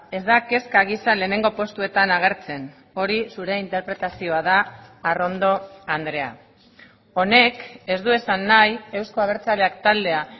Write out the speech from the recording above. ez da kezka gisa lehenengo postuetan agertzen hori zure interpretazioa da arrondo andrea honek ez du esan nahi euzko abertzaleak taldea